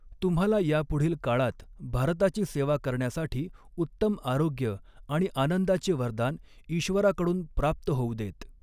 तुम्हाला यापुढील काळात भारताची सेवा करण्यासाठी उत्तम आऱोग्य आणि आनंदाचे वरदान ईश्वराकडून प्राप्त होऊ देत.